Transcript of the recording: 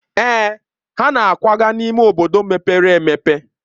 Èè, ha na-akwaga n'ime obodo mepere e.